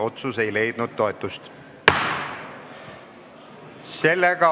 Otsus ei leidnud toetust.